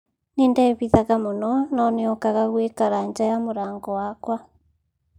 Nindebithaga muno no niokaga gwikara nja ya mrango wakwa